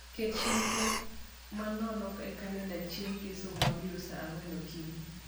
ket chenro manono e kalenda chieng ngeso mabiro saa angwen okinyi